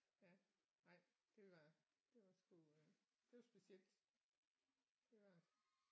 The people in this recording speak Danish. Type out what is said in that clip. Ja nej det var det var sgu øh det var specielt det var det